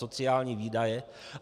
Sociální výdaje.